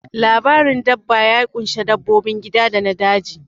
Labarin dabba ya ƙunshi dabbobin gida da na daji